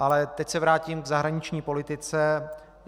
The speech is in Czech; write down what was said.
Ale teď se vrátím k zahraniční politice.